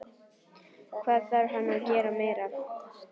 Hvað þarf hann að gera meira?